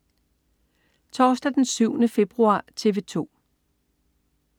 Torsdag den 7. februar - TV 2: